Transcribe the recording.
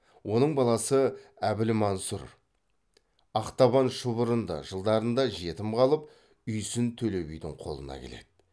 оның баласы әбілмансұр ақтабан шұбырынды жылдарында жетім қалып үйсін төле бидің қолына келеді